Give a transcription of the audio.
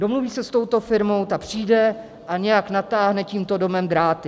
Domluví se s touto firmou, ta přijde a nějak natáhne tímto domem dráty.